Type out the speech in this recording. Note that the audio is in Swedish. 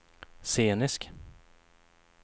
scenisk